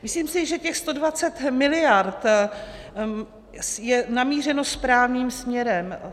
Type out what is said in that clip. Myslím si, že těch 120 miliard je namířeno správným směrem.